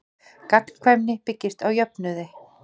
Gagnkvæmni byggist á jöfnuði.